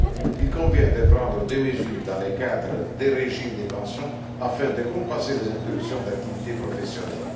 Il convient de prendre des mesures, dans le cadre du régime des pensions, afin de compenser les interruptions d'activité professionnelle.